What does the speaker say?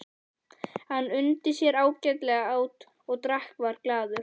Hann undi sér ágætlega, át og drakk og var glaður.